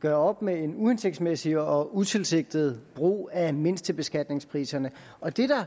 gør op med en uhensigtsmæssig og utilsigtet brug af mindstebeskatningspriserne og det der